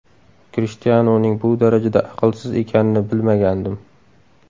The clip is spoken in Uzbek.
Krishtianuning bu darajada aqlsiz ekanini bilmagandim.